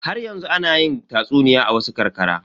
Haryanzu ana yi tatsuniya a wasu ƙarƙara.